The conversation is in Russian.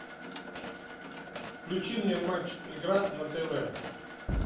включи мне матч игра на тв